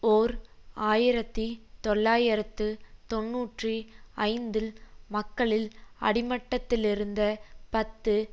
ஓர் ஆயிரத்தி தொள்ளாயிரத்து தொன்னூற்றி ஐந்தில் மக்களில் அடிமட்டத்திலிருந்த பத்து